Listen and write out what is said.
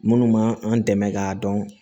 Minnu ma an dɛmɛ k'a dɔn